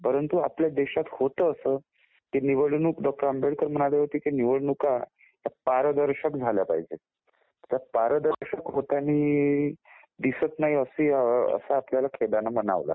परंतु आपल्या देशात होतं असं डॉ. आंबेडकर म्हणाले होते की निवडणुका ह्या पारदर्शक झाल्या पाहिजेत. आता पारदर्शक होताना दिसत नाहीत असं आपल्याला खेदाने म्हणावं लागेल.